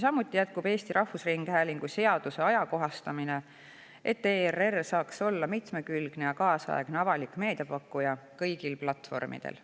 Samuti jätkub Eesti Rahvusringhäälingu seaduse ajakohastamine, et ERR saaks olla mitmekülgne ja kaasaegne avalik meedia pakkuja kõigil platvormidel.